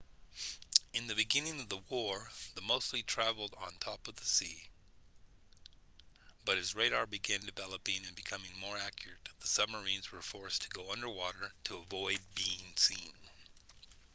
in the beginning of the war they mostly travelled on top of the sea but as radar began developing and becoming more accurate the submarines were forced to go under water to avoid being seen